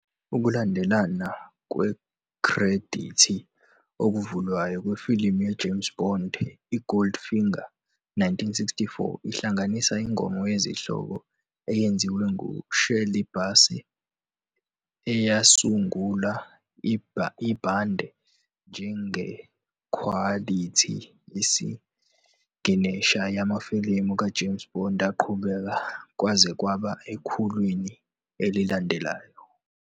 Ukulandelana kwekhredithi okuvulayo kwefilimu ye-James Bond i-Goldfinger, 1964, ihlanganisa ingoma yesihloko eyenziwe ngu-Shirley Bassey, eyasungula ibhande njengekhwalithi yesiginesha yamafilimu ka-James Bond aqhubeka kwaze kwaba ekhulwini elilandelayo.